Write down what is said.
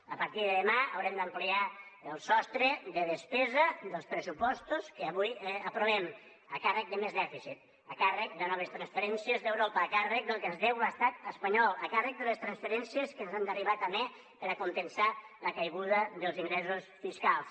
a partir de demà haurem d’ampliar el sostre de despesa dels pressupostos que avui aprovem a càrrec de més dèficit a càrrec de noves transferències d’europa a càrrec del que ens deu l’estat espanyol a càrrec de les transferències que ens han d’arribar també per a compensar la caiguda dels ingressos fiscals